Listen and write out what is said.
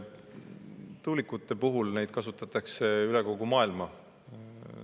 Tuulikuid kasutatakse üle kogu maailma.